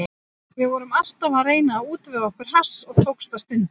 Við vorum alltaf að reyna að útvega okkur hass og tókst það stundum.